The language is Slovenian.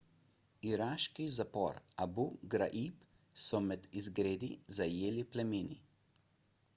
iraški zapor abu ghraib so med izgredi zajeli plameni